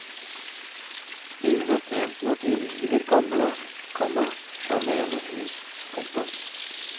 Ingen er tjent med at vi river gamle, komma sjarmerende hus. punktum